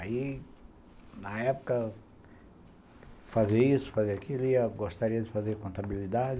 Aí, na época, fazer isso, fazer aquilo, eu gostaria de fazer contabilidade.